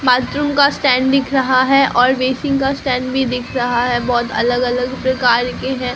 Bathroom का stand दिख रहा है और बेसिन का स्टैंड भी दिख रहा है बहुत अलग अलग प्रकार के हैं।